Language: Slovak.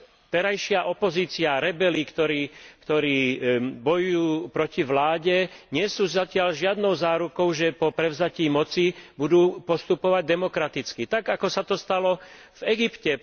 Terajšia opozícia, rebeli, ktorí bojujú proti vláde, nie sú zatiaľ žiadnou zárukou, že po prevzatí moci budú postupovať demokraticky, tak ako sa to stalo v Egypte.